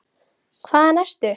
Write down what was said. Hvaðan ertu?